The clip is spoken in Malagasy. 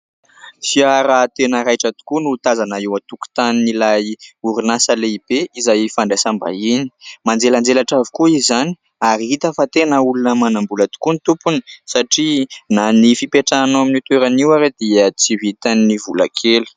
Fiara tena raitra tokoa no tazana eo an-tokotanin'ilay orinasa lehibe izay fandraisambahiny manjelanjelatra avokoa izany ary hita fa tena olona manam-bola tokoa ny tompony satria na ny fipetrahana ao amin'io toerana io aza dia tsy vitan'ny vola kely.